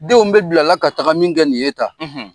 Denw bɛ bila ka taga min kɛ nin ye tan,